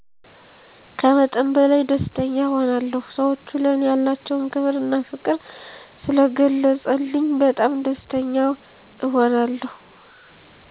ከመጠን በላይ ደስተኛ እሆናለሁ ሰወቹ ለኔ ያላቸዉን ክብር እና ፍቅር ስለገለፀልኝ በጣም ደስተኛ እሆናለሁ።